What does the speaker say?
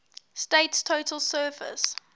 state's total surface